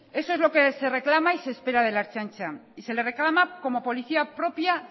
eso es lo que se reclama y se espera de la ertzaintza y se le reclama como policía propia